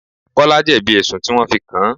Kọ́lá jebi ẹ̀sùn tí wọn fi kàn.